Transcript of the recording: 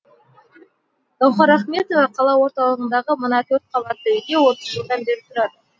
гауһар ахметова қала орталығындағы мына төрт қабатты үйде отыз жылдан бері тұрады